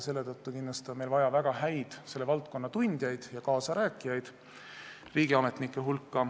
Selle tõttu on meil kindlasti vaja riigiametnike hulka väga häid selle valdkonna tundjaid ja kaasarääkijaid.